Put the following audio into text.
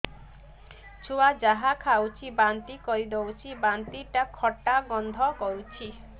ଛୁଆ ଯାହା ଖାଉଛି ବାନ୍ତି କରିଦଉଛି ବାନ୍ତି ଟା ଖଟା ଗନ୍ଧ କରୁଛି